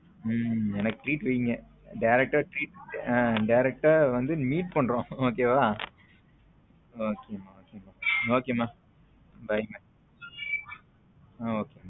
உம் எனக்கு treat வைங்க direct treat direct வந்து meet பண்றோம் okay வா okay மா okay மா okay மா bye ஹம் okay